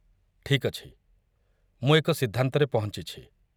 ଠିକ୍ ଅଛି, ମୁଁ ଏକ ସିଦ୍ଧାନ୍ତରେ ପହଞ୍ଚିଛି।